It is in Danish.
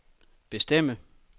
bestemme